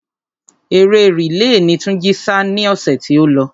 Eré rìle ni Túnjí sá ni ọ̀sẹ̀ tí ó lọ.